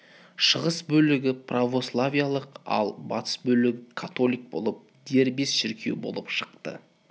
шығыс бөлігі православиялық ал батыс бөлігі католик болып дербес шіркеу болып шықты